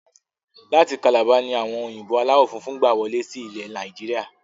Láti kalabá ni àwọn òyìnbó aláwọ funfun gbà wọlé sí ilẹ̀ Nàìjíríà